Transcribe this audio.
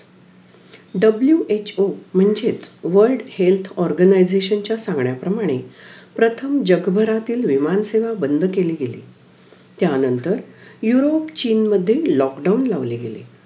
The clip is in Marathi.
WHO म्हणजेच World Health Organisation चा सांगण्या प्रमाणे प्रथम जगभरातील विमान सेवा बंद केली गेली त्या नंतर युरोप, चीन मध्ये lockdown लावले गेले